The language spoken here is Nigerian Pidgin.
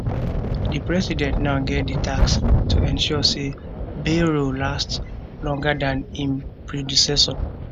di president now get di task to ensure say bayrou last longer dan im predecessor